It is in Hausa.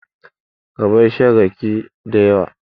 Ka bar shan rake dayawa